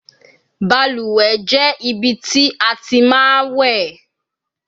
Baluwe je ibi ti a ti ma we